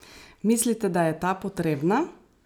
Mislite, da je ta potrebna?